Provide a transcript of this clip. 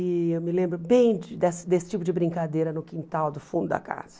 E eu me lembro bem de dessa desse tipo de brincadeira no quintal do fundo da casa.